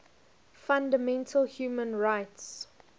fundamental human rights